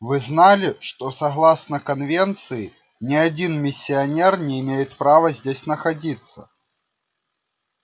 вы знали что согласно конвенции ни один миссионер не имеет права здесь находиться